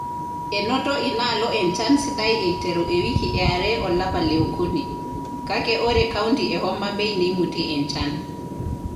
Enoto inaalo enchan sidai eiteru ewiki eare olapa le okuni, kake ore kaunti e Homabay neimutie enchan.